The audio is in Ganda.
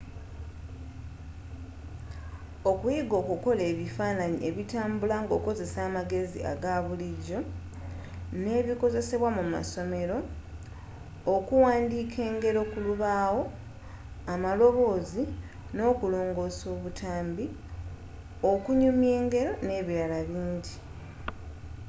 okuyiga okukola ebifannanyi ebitambula nga okozesa amagezi aga bulijjo n’ebikozesebwa mu masomero okuwandika engeero kulubaawo amaloboozi n’okulongoosa obutambi okunyumya engero nebirala bingi.